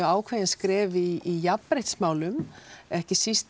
ákveðin skref í jafnréttismálum ekki síst